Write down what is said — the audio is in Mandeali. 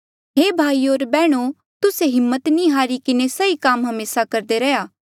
हे भाईयो होर बैहणो तुस्से हिम्मत नी हारी किन्हें सही काम हमेसा करदे रैहया